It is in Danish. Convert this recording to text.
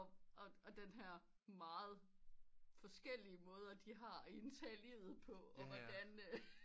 Og den her meget forskellige måder de har indtaget livet og hvordan